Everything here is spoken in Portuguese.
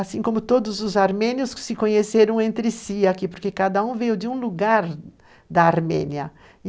Assim como todos os armênios que se conheceram entre si aqui, porque cada um veio de um lugar da Armênia.